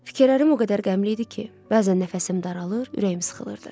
Fikirlərim o qədər qəmli idi ki, bəzən nəfəsim daralır, ürəyim sıxılırdı.